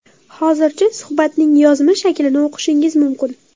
Hozircha, suhbatning yozma shaklini o‘qishingiz mumkin.